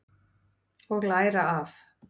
Og læra af.